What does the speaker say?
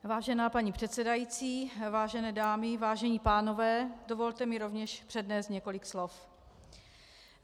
Vážená paní předsedající, vážené dámy, vážení pánové, dovolte mi rovněž přednést několik slov.